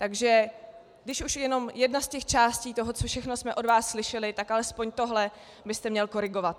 Takže když už jenom jedna z těch částí toho, co všechno jsme od vás slyšeli, tak alespoň tohle byste měl korigovat.